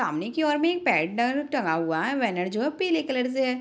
सामने की और में एक पैडल टंगा हुआ है बैनर जो है पीले कलर से है।